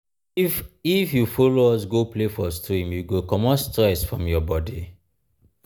if if you folo us go play for stream you go comot stress from your bodi.